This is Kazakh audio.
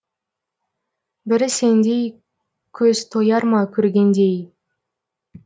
бірі сендей көз тояр ма көргенде ей